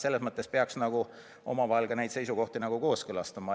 Selles mõttes peaks nagu neid seisukohti kooskõlastama.